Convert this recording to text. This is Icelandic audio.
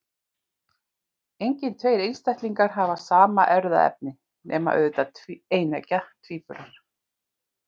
Engir tveir einstaklingar hafa sama erfðaefni, nema auðvitað eineggja tvíburar.